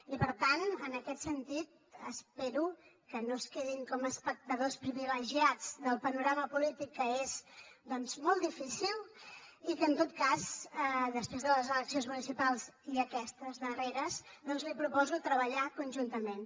i per tant en aquest sentit espero que no es quedin com a espectadors privilegiats del panorama polític que és doncs molt difícil i que en tot cas després de les eleccions municipals i aquestes darreres li proposo treballar conjuntament